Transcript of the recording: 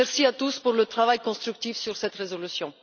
Merci à tous pour le travail constructif sur cette résolution!